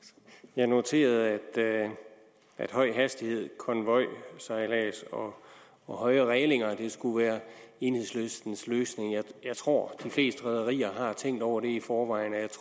jeg noterede at høj hastighed konvojsejlads og og højere rælinger skulle være enhedslistens løsning jeg tror de fleste rederier har tænkt over det i forvejen